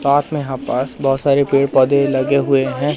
साथ में यहां पास बहोत सारे पेड़ पौधे लगे हुए हैं।